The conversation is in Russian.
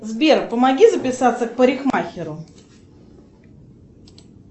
сбер помоги записаться к парикмахеру